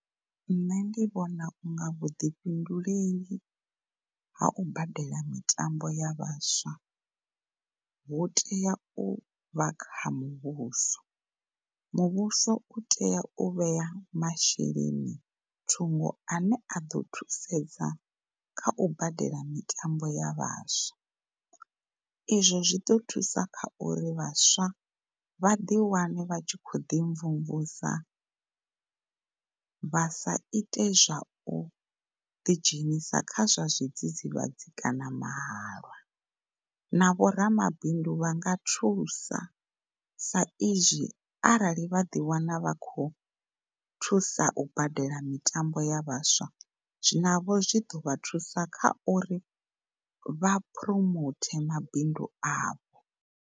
Nṋe ndi vhona unga vhuḓifhinduleli ha u badela mitambo ya vhaswa hotea u vha kha muvhuso. Muvhuso u tea u vhea masheleni thungo ane a ḓo thusedza kha u badela mitambo ya vhaswa izwo zwiḓo thusa khauri vhaswa vha ḓi wane vha tshi khou ḓi mvumvusa, vha sa ite zwa uḓi dzhenisa kha zwa zwidzidzivhadzi kana mahalwa. Na vho ramabindu vha nga thusa saizwi arali vha ḓi wana vha khou thusa u badela mitambo ya vhaswa na vho zwi ḓo vha thusa kha uri vha promote mabindu avho.